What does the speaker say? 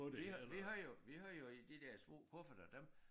Vi havde vi havde jo vi havde jo i de der små kufferter dem